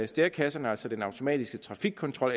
stærekasserne altså den automatiske trafikkontrol